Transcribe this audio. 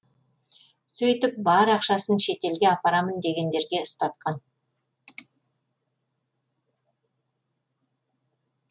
сөйтіп бар ақшасын шетелге апарамын дегендерге ұстатқан